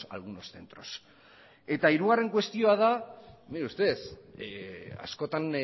algunos centros eta hirugarren kuestioa da mire usted askotan